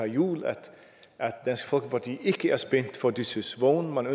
juhl at dansk folkeparti ikke er spændt for disses vogn og at